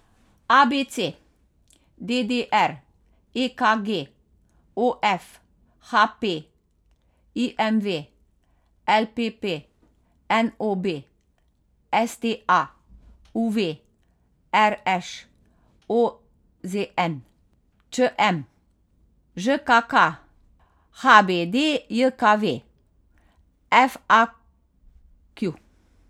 A B C; D D R; E K G; O F; H P; I M V; L P P; N O B; S T A; U V; R Š; O Z N; Č M; Ž K K; H B D J K V; F A Q.